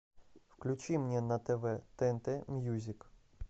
включи мне на тв тнт мьюзик